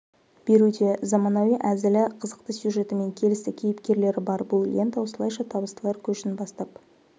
беруде заманауи әзілі қызықты сюжеті мен келісті кейіпкерлері бар бұл лента осылайша табыстылар көшін бастап